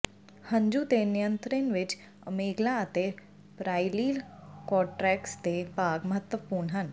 ਹੰਝੂ ਦੇ ਨਿਯੰਤ੍ਰਣ ਵਿੱਚ ਅਮੇਗਲਾ ਅਤੇ ਪਰਾਇਲੀਲ ਕੌਰਟੈਕਸ ਦੇ ਭਾਗ ਮਹੱਤਵਪੂਰਨ ਹਨ